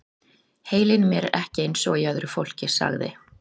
Heilinn í mér er ekki eins og í öðru fólki- sagði